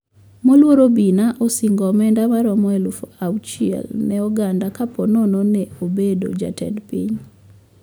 Moluor obina osingo omenda maromo alufu auchiel ne oganda kaponono ne obedo jatend piny